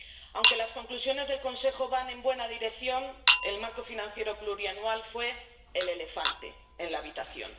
Aunque las conclusiones del Consejo van en la buena dirección, el marco financiero plurianual fue el elefante en la habitación.